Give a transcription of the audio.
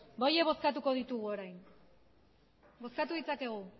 bale ba horiek bozkatuko ditugu orain bozkatu dezakegu